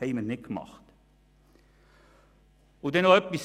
Ich habe noch einen zweiten Punkt.